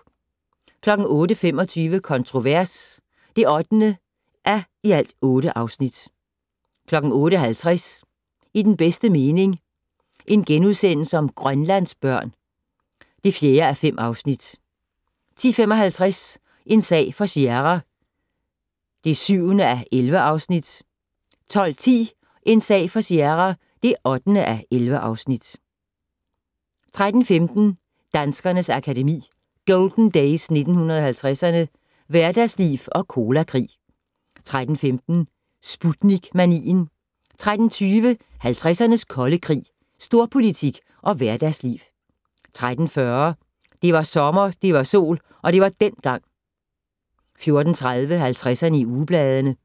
08:25: Kontrovers (8:8) 08:50: I den bedste mening - Grønlandsbørn (4:5)* 10:55: En sag for Sierra (7:11) 12:10: En sag for Sierra (8:11) 13:15: Danskernes Akademi: Golden Days 1950'erne - Hverdagsliv og Colakrig 13:15: Sputnik-manien 13:20: 50'ernes kolde krig - Storpolitik og hverdagsliv 13:40: Det var sommer, det var sol - det var dengang 14:30: 50'erne i ugebladene